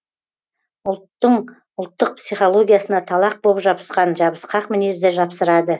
ұлттың ұлттық психологиясына талақ боп жабысқан жабысқақ мінезді жапсырады